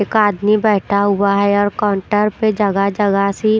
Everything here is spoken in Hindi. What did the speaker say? एक आदमी बैठा हुआ है और काउंटर पर जगह-जगह से--